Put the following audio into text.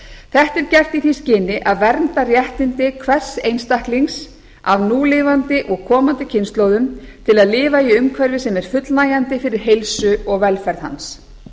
þetta er gert í því skyni að vernda réttindi hvers einstaklings af núlifandi og komandi kynslóðum til að lifa í umhverfi sem er fullnægjandi fyrir heilsu og velferð hans